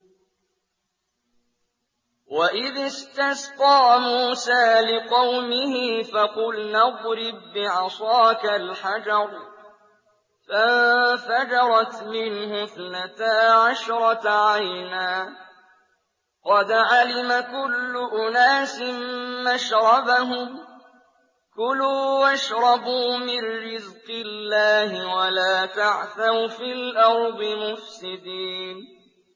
۞ وَإِذِ اسْتَسْقَىٰ مُوسَىٰ لِقَوْمِهِ فَقُلْنَا اضْرِب بِّعَصَاكَ الْحَجَرَ ۖ فَانفَجَرَتْ مِنْهُ اثْنَتَا عَشْرَةَ عَيْنًا ۖ قَدْ عَلِمَ كُلُّ أُنَاسٍ مَّشْرَبَهُمْ ۖ كُلُوا وَاشْرَبُوا مِن رِّزْقِ اللَّهِ وَلَا تَعْثَوْا فِي الْأَرْضِ مُفْسِدِينَ